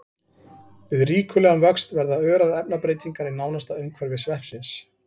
Við ríkulegan vöxt verða örar efnabreytingar í nánasta umhverfi sveppsins.